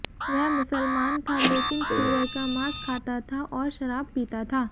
वह मुसलमान था लेकिन सूअर का मांस खाता था और शराब पीता था